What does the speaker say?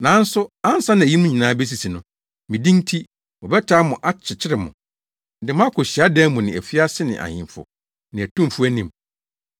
“Nanso ansa na eyinom nyinaa besisi no, me din nti, wɔbɛtaa mo akyekyere mo, de mo akɔ hyiadan mu ne afiase ne ahemfo ne atumfo anim.